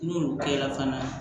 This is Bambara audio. N'olu kɛra fana